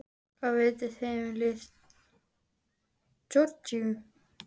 Hvað vitið þið um lið Georgíu?